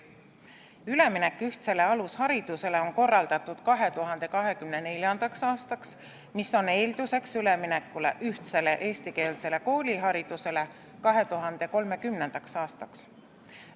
Üleminek ühtsele alusharidusele on korraldatud 2024. aastaks, mis on eelduseks üleminekule ühtsele eestikeelsele kooliharidusele 2030. aastaks.